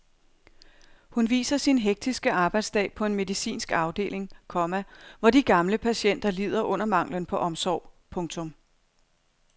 Hun viser sin hektiske arbejdsdag på en medicinsk afdeling, komma hvor de gamle patienter lider under manglen på omsorg. punktum